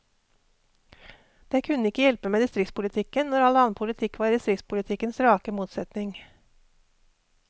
Det kunne ikke hjelpe med distriktspolitikken, når all annen politikk var distriktspolitikkens rake motsetning.